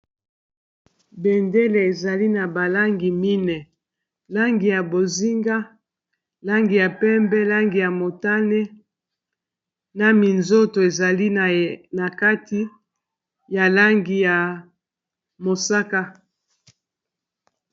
Bendele ezali na ba langi mine langi ya bozinga, langi ya pembe, langi ya motane, na minzoto ezali na kati ya langi ya mosaka.